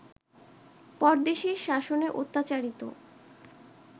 পরদেশির শাসনে অত্যাচারিত